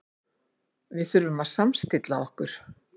Við þurfum að samstilla okkur.